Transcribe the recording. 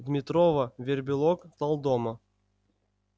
дмитрова вербилок талдома